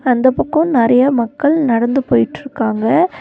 அந்தப் பக்கோ நெறைய மக்கள் நடந்து போயிட்ருக்காங்க.